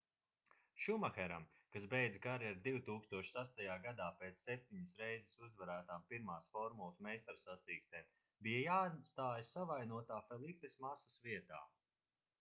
šumaheram kas beidza karjeru 2006. gadā pēc septiņas reizes uzvarētām 1. formulas meistarsacīkstēm bija jāstājas savainotā felipes masas vietā